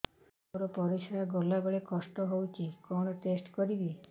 ମୋର ପରିସ୍ରା ଗଲାବେଳେ କଷ୍ଟ ହଉଚି କଣ ଟେଷ୍ଟ କରିବି